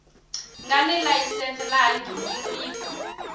nga ni layisense laha nghingiriko